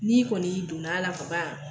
N'i kɔni y'i donna la kaban.